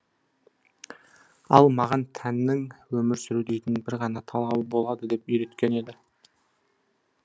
ал маған тәннің өмір сүру дейтін бір ғана талабы болады деп үйреткен еді